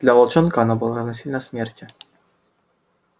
для волчонка оно было равносильно смерти